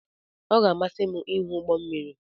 Ọ ga-amasị m ịhụ ụgbọ mmiri.